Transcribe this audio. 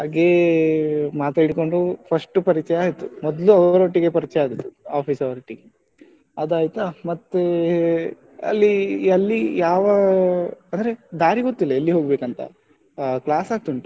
ಮಾತಾಡಿಕೊಂಡು first ಪರಿಚಯ ಆಯ್ತು ಮೊದ್ಲು ಅವರೊಟ್ಟಿಗೆ ಪರಿಚಯ ಆಗಿದ್ದು office ಅವ್ರ ಒಟ್ಟಿಗೆ ಅದಾಯ್ತಾ, ಮತ್ತೆ ಅಲ್ಲಿ ಇಲ್ಲಿ ಯಾವ ಅಂದ್ರೆ ದಾರಿ ಗೊತ್ತಿಲ್ಲ ಎಲ್ಲಿಗೆ ಹೋಗ್ಬೇಕು ಅಂತ ಆ class ಆಗ್ತಾ ಉಂಟು.